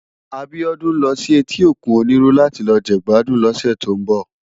Abiodun n lò si èti ókún Oniru làti lò jegbàdún lòsè tó n bò